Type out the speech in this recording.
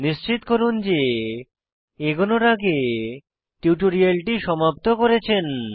নিশ্চিত করুন যে এগোনোর আগে টিউটোরিয়ালটি সমাপ্ত করেছেন